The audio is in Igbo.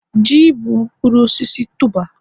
ji bụ mkpụrụ osisi tuber